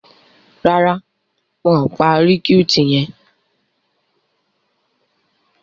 Ràrá wón pá recruit yén.